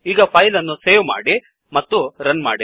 ಈಗ ಫೈಲ್ ಅನ್ನು ಸೇವ್ ಮಾಡಿ ಮತ್ತು ರನ್ ಮಾಡಿ